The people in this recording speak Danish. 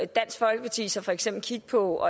dansk folkeparti så for eksempel kigge på